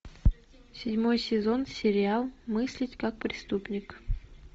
седьмой сезон сериал мыслить как преступник